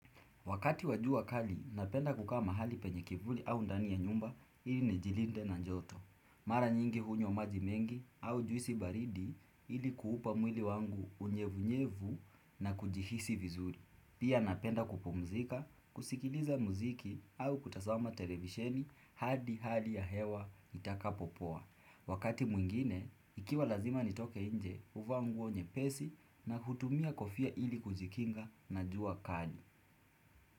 Wakati wa jua kali, napenda kukaa mahali penye kivuli au ndani ya nyumba ili nijilinde na joto. Mara nyingi hunywa maji mengi au juisi baridi ili kuupa mwili wangu unyevunyevu na kujihisi vizuri. Pia napenda kupumzika, kusikiliza muziki au kutazama televisheni hadi hali ya hewa itakapopoa. Wakati mwingine, ikiwa lazima nitoke nje huvaa nguo nyepesi na hutumia kofia ili kujikinga na jua kali.